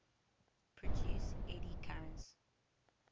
produce eddy currents